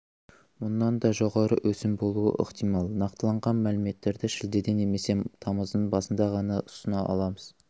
мұнан да жоғары өсім болуы ықтимал нақтыланған мәліметтерді шілдеде немесе тамыздың басында ғана ұсына аламыз